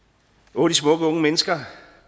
åh de smukke unge mennesker